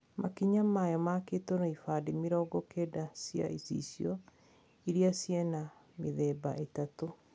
Makinya mayo makitwo na ibande mĩrongo kenda cia icicio iriaciena mithemba ĩtatũ.